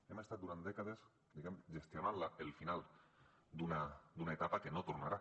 hem estat durant dècades diguem gestionant el final d’una etapa que no tornarà